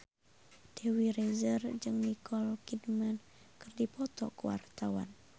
Dewi Rezer jeung Nicole Kidman keur dipoto ku wartawan